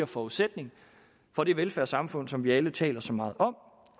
forudsætning for det velfærdssamfund som vi alle taler så meget om